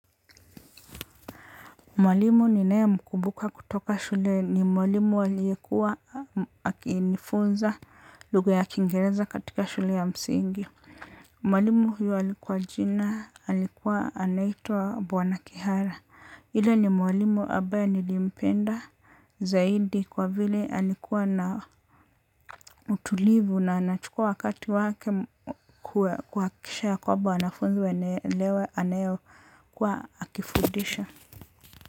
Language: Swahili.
Mwalimu ninayemkumbuka kutoka shule ni mwalimu aliyekuwa aknifunza lugha ya kingereza katika shule ya msingi. Mwalimu huyu alikuwa jina, alikuwa anaitwa bwana kihara. Yule ni mwalimu ambaye nilimpenda zaidi kwa vile alikuwa na utulivu na anachukua wakati wake kuhakisha ya kwamba wanafunzi wanaelewa anayokuwa akifundisha.